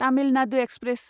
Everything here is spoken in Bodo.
तामिल नादु एक्सप्रेस